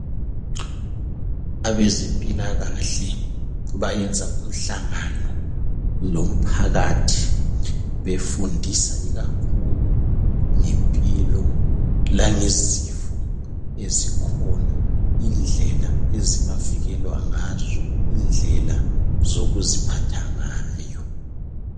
Abezempilakahle bayenza umhlangano lomphakathi befundisa ikakhulu ngempilo langezifo ezikhona indlela ezingavikelwa ngazo indlela zokuziphatha ngayo.